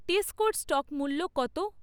টেস্কোর stock মূল্য কত?